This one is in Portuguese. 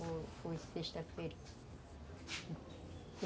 Foi sexta-feira.